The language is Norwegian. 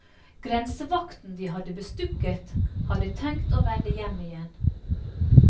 Grensevakten de hadde bestukket hadde tenkt å vende hjem igjen.